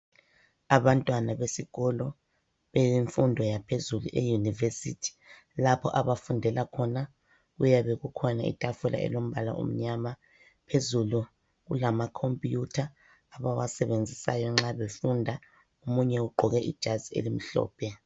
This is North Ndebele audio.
Abantwana besikolo eyemfundo yaphezulu eyunivesithi. Lapho abafundela khona kuyabe kukhona itafula elombala omnyama, phezulu kulamakhomuyutha abawasebenzisayo nxa befunda, omunye ugqoke ijazi elimhlophe.